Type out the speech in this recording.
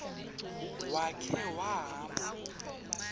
ya khe wahamba